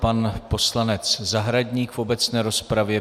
Pan poslanec Zahradník v obecné rozpravě.